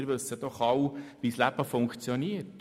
Wir wissen doch alle, wie das Leben funktioniert.